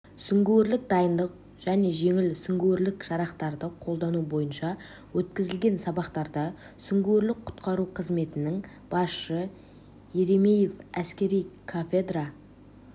сүңгуірлік дайындық және жеңіл сүңгуірлік жарақтарды қолдану бойынша өткізілген сабақтарда сүңгуірлік-құтқару қызметінің басшысы еремеев әскери кафедра